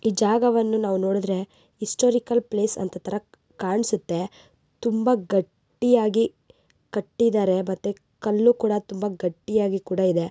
E ಜಾಗವನ್ನು ನಾವು ನೋಡಿದ್ದರೆ ಹಿಸ್ಟೋರಿಕಲ್ ಪ್ಲೇಸ್ ಅನಂತತಾರ್ ಕಾಣ್ಸುತ್ತೆ ತುಂಬಾ ಗಟ್ಟಿಯಾಗಿ ಕಟ್ಟಿದ್ದಾರೆ ಮತ್ತೆ ಕಲ್ಲು ಕುಡಾ ತುಂಬಾ ಗಟ್ಟಿಯಾಗಿ ಕುಡಾ ಇದೆ.